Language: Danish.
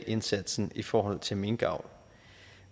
indsatsen i forhold til minkavl